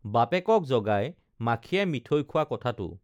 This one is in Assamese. বাপেকক জগাই মাখিয়ে মিঠৈ খোৱা কথাটো